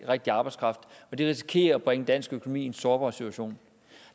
rigtige arbejdskraft og det risikerer at bringe dansk økonomi i en sårbar situation